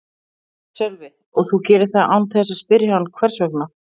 Sölvi: Og þú gerir það án þess að spyrja hann hvers vegna?